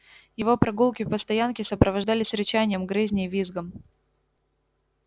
его прогулки по стоянке сопровождались рычанием грызней визгом